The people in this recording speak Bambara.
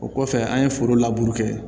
O kɔfɛ an ye foro laburu kɛ